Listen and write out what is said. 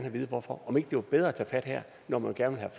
at vide hvorfor og om ikke det var bedre at tage fat her når man gerne